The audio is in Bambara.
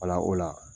Wala o la